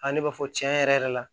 A ne b'a fɔ cɛn yɛrɛ yɛrɛ la